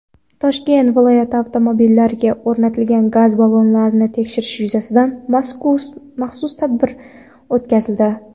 Toshkent viloyatida avtomobillarga o‘rnatilgan gaz ballonlarini tekshirish yuzasidan maxsus tadbir o‘tkazildi.